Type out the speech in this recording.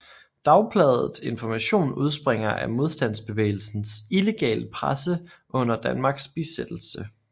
Dagbladet Information udspringer af modstandsbevægelsens illegale presse under Danmarks besættelse